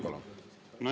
Palun!